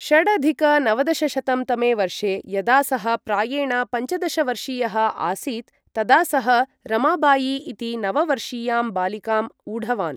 षडधिक नवदशशतं तमे वर्षे, यदा सः प्रायेण पञ्चदश वर्षीयः आसीत् तदा सः रमाबाई इति नववर्षीयां बालिकाम् ऊढवान्।